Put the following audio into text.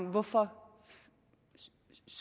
hvorfor